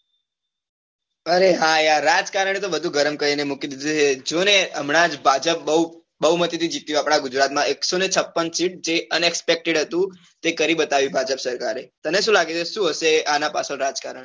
અરે હા યાર રાજકારણ એ તો બધુ ગરમ કરીને મૂકી દીધું છે જો ને હમણાં જ ભાજપ બહુમતી થી જીત્યું આપણાં ગુજરાત માં એકસો ને છપ્પન સીટ જે unexpected હતું જે કરી બતાયુ ભાજપ સરકારે તને શું લાગી રહ્યું છે શું હશે આના પાછ્ડ રાજકારણ